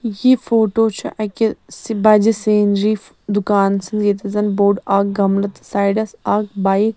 یہِ فوٹو چھ اَکہِ س بجہِ سیٖنری .دُکانس منٛزییٚتٮ۪تھ زن بوٚڈاکھ گملہٕ تہٕ سایڈس اکھ بایک